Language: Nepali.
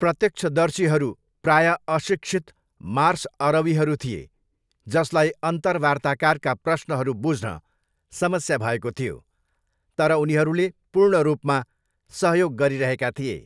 प्रत्यक्षदर्शीहरू प्रायः अशिक्षित मार्स अरबीहरू थिए जसलाई अन्तर्वार्ताकारका प्रश्नहरू बुझ्न समस्या भएको थियो तर उनीहरूले पूर्ण रूपमा सहयोग गरिरहेका थिए।